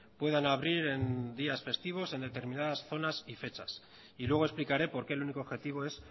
puedan abrir en días festivos en determinadas zonas y fechas y luego explicaré por qué el único objetivo es